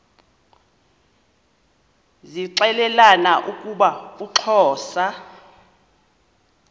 zixelelana ukuba uxhosa